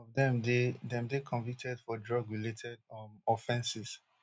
some of dem dey dem dey convicted for drug related um offenses